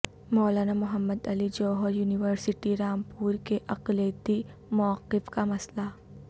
مولانا Mohammad Ali Jauhar university Rampur کے اقلیتی موقف کا مسئلہ